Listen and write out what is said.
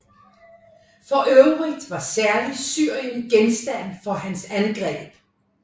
For øvrigt var særligt Syrien genstand for hans angreb